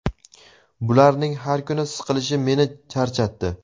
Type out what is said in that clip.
bularning har kuni siqilishi meni charchatdi.